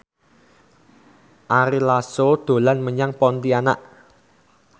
Ari Lasso dolan menyang Pontianak